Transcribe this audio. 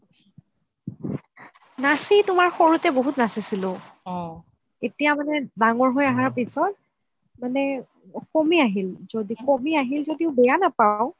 নাচি তুমাৰ সৰুতে বহুত নাচিছিলো এতিয়া মানে ডাঙৰ হয় আহাৰ পিছত মানে কমি আহিল য্দি কমি আহিল য্দিও বেয়া নাপাও